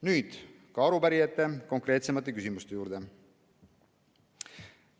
Nüüd ka arupärijate konkreetsemate küsimuste juurde.